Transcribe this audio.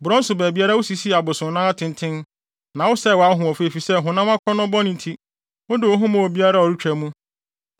Borɔn so baabiara wusisii abosonnan atenten, na wosɛe wʼahoɔfɛ efisɛ honam akɔnnɔ bɔne nti wode wo ho maa obiara a ɔretwa mu.